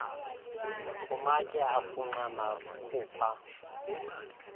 kumatye afunxa nakhupha